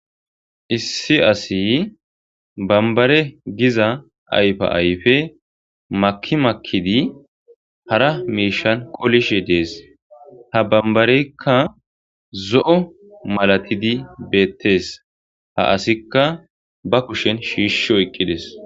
Issi asi banbare giza ayfa ayfe maki makidi hara miishshan qolishshe dees. Ha banbareykka zo'o malatidi beetees. Ha asika ba kushshen shishi oykides.